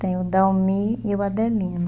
Tenho o Dalmi e o Adelino.